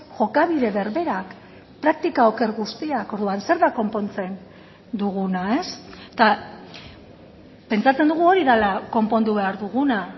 jokabide berberak praktika oker guztiak orduan zer da konpontzen duguna eta pentsatzen dugu hori dela konpondu behar duguna